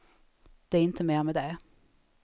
Det är inte mer med det.